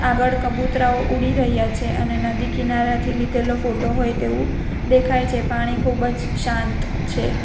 આગાડ કબુતરાઓ ઉડી રહ્યા છે અને નદી કિનારાથી લીધેલો ફોટો હોય તેવું દેખાય છે પાણી ખૂબ જ શાંત છે.